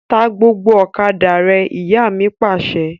Ta gbogbo ọ̀kadà rẹ! Ìyá mi Pàṣẹ.